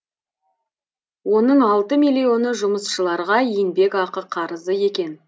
оның алты миллионы жұмысшыларға еңбекақы қарызы екен